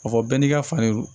A fɔ bɛɛ n'i ka fani